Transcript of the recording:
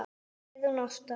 Heiðrún Ásta.